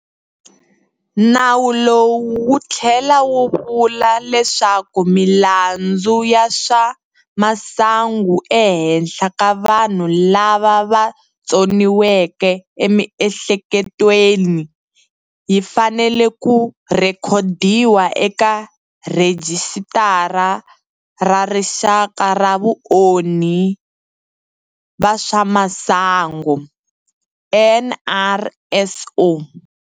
Nawu lowu wu tlhela wu vula leswaku milandzu ya swa masangu ehenhla ka vanhu lava va tsoniweke emiehleketweni yi fanele ku rhekodiwa eka Rhijisitara ra Rixaka ra Vaonhi va swa Masangu, NRSO.